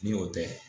Ni o tɛ